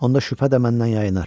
Onda şübhə də məndən yayınar.